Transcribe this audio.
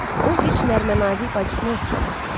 O heç nərmə-nazik bacısına oxşamırdı.